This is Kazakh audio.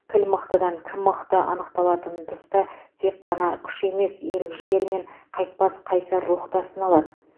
кіл мықтыдан кім мықты анықталатын тұста тек қана күш емес ерік жігер мен қайтпас қайсар рух та сыналады